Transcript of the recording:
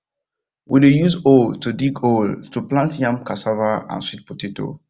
we dey use hoe to dig hole to plant yam cassava and sweet potato